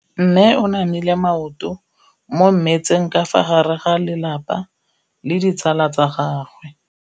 Mme o namile maoto mo mmetseng ka fa gare ga lelapa le ditsala tsa gagwe.